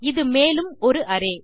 இது மேலும் ஒரு அரே